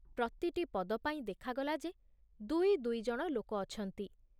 ପ୍ରତିଟି ପଦ ପାଇଁ ଦେଖାଗଲା ଯେ ଦୁଇ ଦୁଇ ଜଣ ଲୋକ ଅଛନ୍ତି।